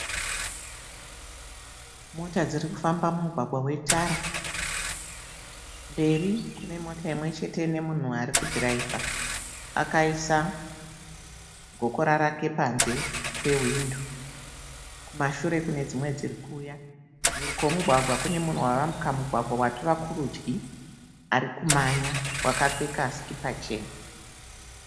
Mota dziri kufamba mumugwagwa wetara. Mberi kune Mota imwe chete ne munhu arikudhiraivha akaisa gokora rake panze pewindo. Kumashure kune dzimwe dzirikuuya mhiri kwemugwagwa kune munhu ayambuka mugwagwa atova kurudya arikumhanya akapfeka sikipa chena